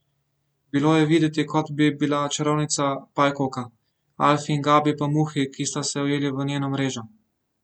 Bilo je videti, kot bi bila čarovnica pajkovka, Alfi in Gabi pa muhi, ki sta se ujeli v njeno mrežo.